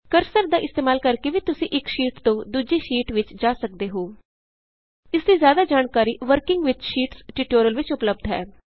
cursor ਦਾ ਇਸਤੇਮਾਲ ਕਰਕੇ ਵੀ ਤੁਸੀਂ ਇਕ ਸ਼ੀਟ ਤੋਂ ਦੂਜੀ ਸ਼ੀਟ ਵਿਚ ਜਾ ਸਕਦੇ ਹੋ ਇਸ ਦੀ ਜ਼ਿਆਦਾ ਜਾਣਕਾਰੀ ਵਰਕਿੰਗ ਵਿਥ ਸ਼ੀਟਸ ਟਿਯੂਟੋਰਿਅਲ ਵਿਚ ਉਪਲੱਭਦ ਹੈ